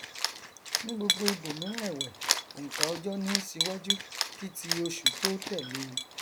ní gbogbo ibòmíràn ẹwẹ ònkà ọjọ ní í ṣíwájú kí ti oṣù tó tẹlé e